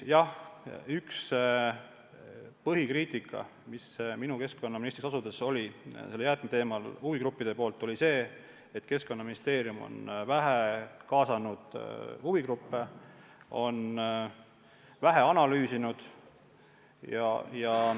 Üks põhikriitika, mis minu keskkonnaministriks asudes jäätmeteemal huvigruppidelt tuli, oli see, et Keskkonnaministeerium on vähe kaasanud huvigruppe, on teemat vähe analüüsinud.